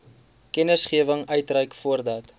kennisgewing uitreik voordat